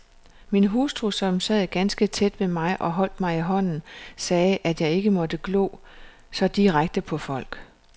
Min hustru, som sad ganske tæt ved mig og holdt mig i hånden, sagde, at jeg ikke måtte glo så direkte på folk.